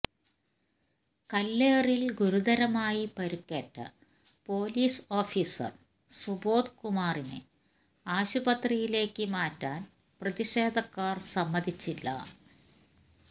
കല്ലേറില് ഗുരുതരമായി പരിക്കേറ്റ police officer Subodh കുമാറിനെ ആശുപത്രിയിലേക്ക് മാറ്റാന് പ്രതിഷേധക്കാര് സമ്മതിച്ചില്ല